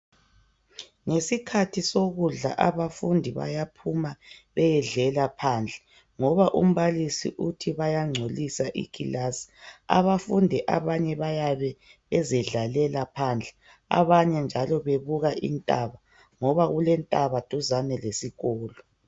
Ngesikhathi sokudla abafundi bayaphuma beyedlela phandle ngoba umbalisi uthi bayangcolisa ikilasi abafundi abanye bayabe bezidlalela phandle abanye njalo bebuka intaba ngoba kulentaba eduzane lesikolo.